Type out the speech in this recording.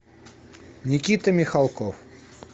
никита михалков